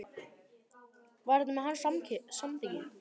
Var þetta með hans samþykki?